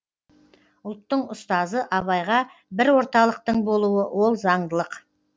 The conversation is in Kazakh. ұлттың ұстазы абайға бір орталықтың болуы ол заңдылық